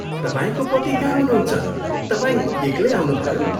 तपाईँको पति कहाँ हुनुहन्छ, तपाईँ एक्लै आउनुभयो?